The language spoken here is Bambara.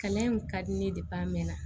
Kalan in ka di ne a mɛn na